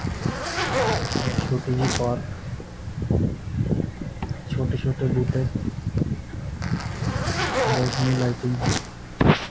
ਛੋਟੀ ਜਿਹੀ ਪਾਰਕ ਛੋਟੇ ਛੋਟੇ ਬੂਟੇ ਬਹੁਤ ਸੋਹਣੀ ਲਾਈਟਿੰਗ ।